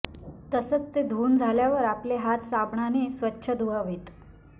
तसंच ते धुऊन झाल्यावर आपले हात साबणाने स्वच्छ धुवावेत